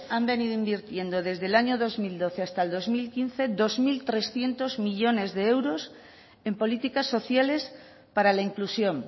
han venido invirtiendo desde el año dos mil doce hasta el dos mil quince dos mil trescientos millónes de euros en políticas sociales para la inclusión